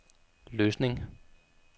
Løsning